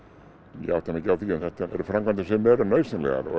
ég átta mig ekki á því en þetta eru náttúrulega framkvæmdir sem eru nauðsynlegar og